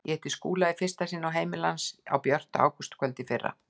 Ég hitti Skúla í fyrsta sinn á heimili hans á björtu ágústkvöldi í fyrra.